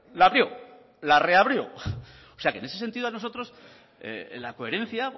la abrió la reabrió o sea que en ese sentido a nosotros la coherencia